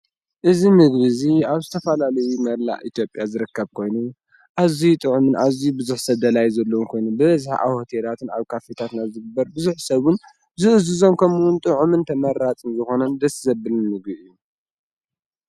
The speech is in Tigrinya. እዝ ምድቢእዙይ ኣብ ስተፋላልይ መላእ ኢቲጴያ ዝረከብ ኮይኑ ኣዙይ ጥዑምን ኣዙይ ብዙኅ ሰደላይ ዘሎዉን ኮይኑ ብዝሕዓ ሁቲራትን ኣብ ካፊታትና ዝግበር ብዙኅ ሰቡን ዝእዝዞም ከምውን ጥዑምን ተመራፅን ዝኾነን ደስዘብልን ንጉዕ እዩ።